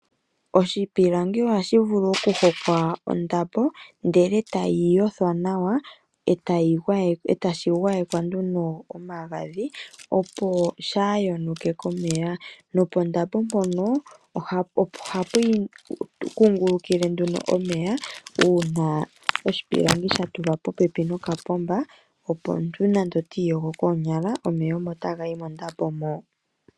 Oshipilangi ohashi vulu okuhokwa ondambo etashi fikwa nawa opo shaa yonuke komeya. Pondapo mpono ohapu kungulukile omeya uuna sha tulwa pooha dho kapomba opo omuntu nande otiiyogo koonyala omeya omo taga kungulukile mondapo mo.